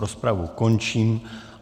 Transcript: Rozpravu končím.